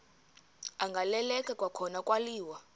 agaleleka kwakhona kwaliwa